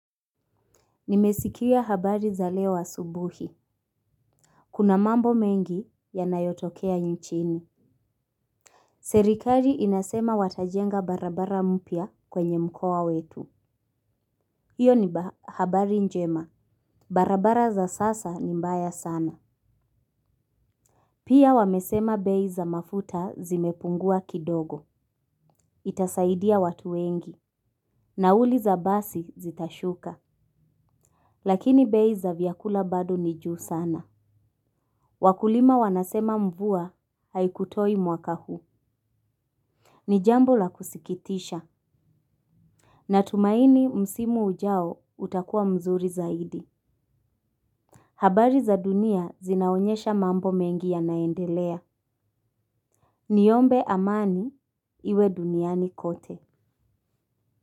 Nimesikia habari za leo asubuhi. Kuna mambo mengi yanayotokea nchini. Serikali inasema watajenga barabara mpya kwenye mkoa wetu. Iyo ni habari njema. Barabara za sasa ni mbaya sana. Pia wamesema bei za mafuta zimepungua kidogo. Itasaidia watu wengi. Nauli za basi zitashuka. Lakini bei za vyakula bado ni juu sana. Wakulima wanasema mvua haikutoi mwaka huu. Ni jambo la kusikitisha. Natumaini msimu ujao utakua mzuri zaidi. Habari za dunia zinaonyesha mambo mengi yanaendelea. Niombe amani iwe duniani kote.